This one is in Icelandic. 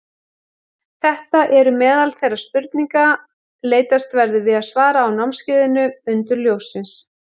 Þetta eru meðal þeirra spurninga leitast verður við að svara á námskeiðinu Undur ljóssins.